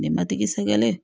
Nɛgɛmatigi sɛgɛrɛ